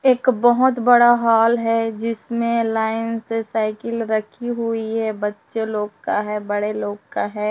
एक बहुत बड़ा हाल है जिसमें लाइन से साइकिल रखी हुई है बच्चे लोग का है बड़े लोग का है।